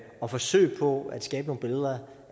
og forsøgene på at skabe nogle billeder